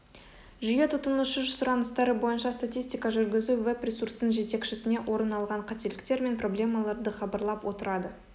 жүйе тұтынушы сұраныстары бойынша статистика жүргізіп веб-ресурстың жетекшісіне орын алған қателіктер мен проблемаларды хабарлап отырады